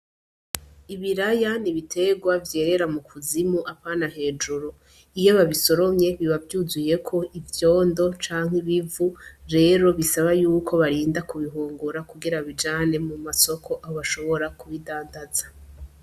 Ibiraya ni ibitegwa vyerera mu kuzimu apana hejuru iyo babisoromye bibavyuzuyeko ivyondo canke ibivu rero bisaba yuko barinda kubihungura kugira babijane mu masoko aho bashobora kubidandaza.